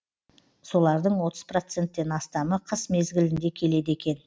солардың отыз проценттен астамы қыс мезгілінде келеді екен